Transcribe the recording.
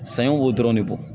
Saɲɔ b'o dɔrɔn de bɔ